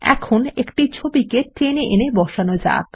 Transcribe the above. আমাদের ছবিকে টেনে এনে বসানো যাক